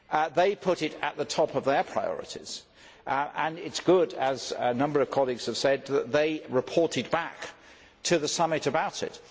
They put it at the top of their priorities and it is good, as a number of colleagues have said, that they reported back to the Summit about it.